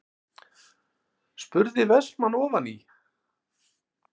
spurði Vestmann ofan í.